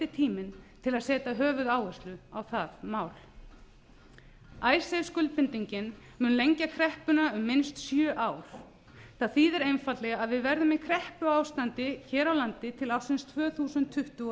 tíminn til að setja höfuðáherslu á það mál icesave skuldbindingin mun lengja kreppuna um minnst sjö ár það þýðir einfaldlega að við verðum í kreppuástandi hér á landi til ársins tvö þúsund tuttugu og